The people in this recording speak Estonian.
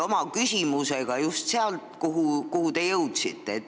Ma jätkan just sealt, kuhu te jõudsite.